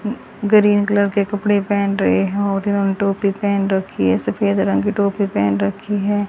Green colour के कपड़े पहन रहे और इन्होंने टोपी पहन रखी है सफेद रंग की टोपी पहन रखी है।